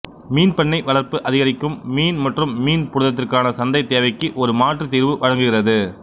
மீன் பண்ணை வளர்ப்பு அதிகரிக்கும் மீன் மற்றும் மீன் புரதத்திற்கான சந்தை தேவைக்கு ஒரு மாற்று தீர்வு வழங்குகிறது